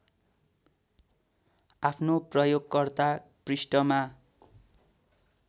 आफ्नो प्रयोगकर्ता पृष्ठमा